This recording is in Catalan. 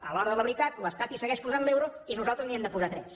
a l’hora de la veritat l’estat hi segueix posant l’euro i nosaltres n’hi hem de posar tres